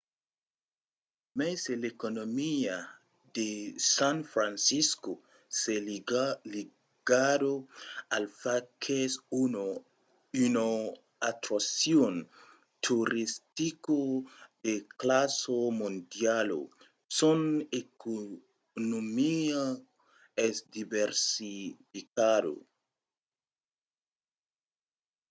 e mai se l’economia de san francisco es ligada al fach qu’es una atraccion toristica de classa mondiala son economia es diversificada